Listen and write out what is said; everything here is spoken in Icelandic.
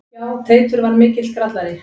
Já, Teitur var mikill grallari.